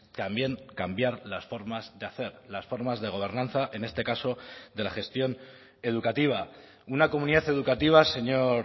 también cambiar las formas de hacer las formas de gobernanza en este caso de la gestión educativa una comunidad educativa señor